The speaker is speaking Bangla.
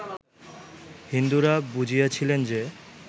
হিন্দুরা বুঝিয়াছিলেন যে